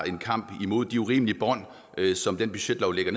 en kamp mod de urimelige bånd som den budgetlov lægger